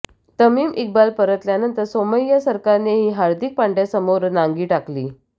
तमीम इक्बाल परतल्यानंतर सौमय्या सरकारनेही हार्दिक पांड्याससमोर नांगी टाकली